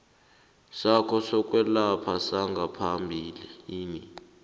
sakho sokwelapha sangaphambilini